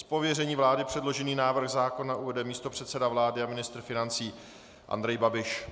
Z pověření vlády předložený návrh zákona uvede místopředseda vlády a ministr financí Andrej Babiš.